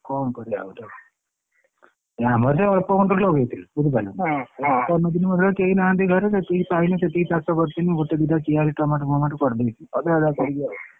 କଣ କରିଆ ଆଉ ତାକୁ ଏ ଆମର ସେଇ ଅଳ୍ପ ଖଣ୍ଡ ଲଗେଇଥିଲୁ ବୁଝିପାରିଲୁ କେହିନାହାନ୍ତି ଘରେ ଯେତିକି ପାଇଲି ସେତିକି ଚାଷ କରିଥିଲି ଗୋଟେ ଦିଟା କିଆରି ଟମାଟୋ ଫମାଟୋ କରିଦେଇଛି ଅଧା ଅଧା କରିକି ଆଉ।